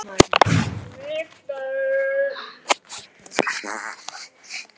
Þau voru dýrari en það munaði ekki miklu.